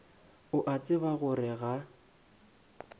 o a tseba gore ga